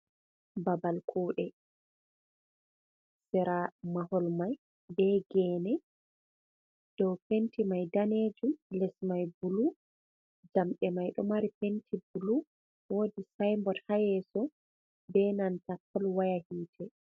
Babal kuɗe sira mahol mai be gene, dow penti mai danejum, les mai bulu, jamɗe mai ɗo mari penti bulu, wodi sybod haa yeso be nanta polwaya hiite.